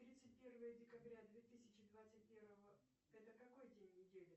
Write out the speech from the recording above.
тридцать первое декабря две тысячи двадцать первого это какой день недели